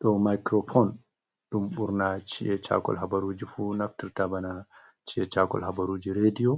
Ɗo micropon ɗum ɓurna ci’e chakol habaruji fu naftirta bana chi’e chakol habaruji rediyo